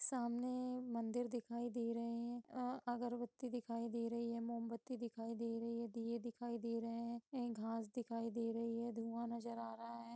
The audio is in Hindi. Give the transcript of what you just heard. सामने मंदिर दिखाई दे रहे है अ अगरबती दिखाई दे रही है मोमबत्ती दिखाई दे रही है दियें दिखाई दे रहे है घास दिखाई दे रही है धुआं नज़र आ रहा है।